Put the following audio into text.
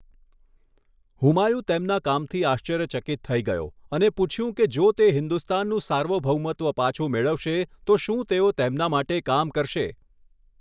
હુમાયુ તેમના કામથી આશ્ચર્યચકિત થઈ ગયો અને પૂછ્યું કે જો તે હિન્દુસ્તાનનું સાર્વભૌમત્વ પાછું મેળવશે તો શું તેઓ તેમના માટે કામ કરશે.